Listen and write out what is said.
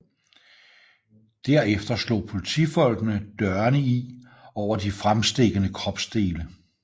Derefter slog politifolkene dørene i over de fremstikkende kropsdele